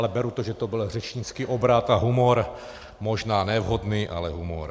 Ale beru, že to byl řečnický obrat a humor, možná ne vhodný, ale humor.